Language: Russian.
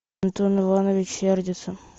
антон иванович сердится